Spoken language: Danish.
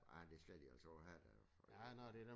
Ja men det skal de altså også have der øh